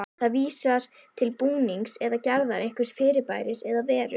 Það vísar til búnings eða gerðar einhvers fyrirbæris eða veru.